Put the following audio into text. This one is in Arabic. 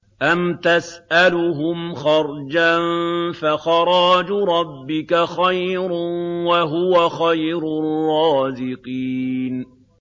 أَمْ تَسْأَلُهُمْ خَرْجًا فَخَرَاجُ رَبِّكَ خَيْرٌ ۖ وَهُوَ خَيْرُ الرَّازِقِينَ